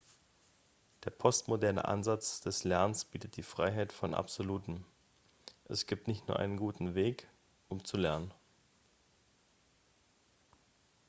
der postmoderne ansatz des lernens bietet die freiheit von absolutem es gibt nicht nur einen guten weg um zu lernen